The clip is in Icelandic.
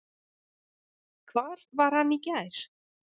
Hvar var hann í gær?